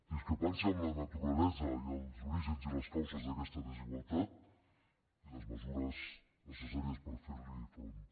discrepància en la naturalesa i els orígens i les causes d’aquesta desigualtat i les mesures necessàries per fer hi front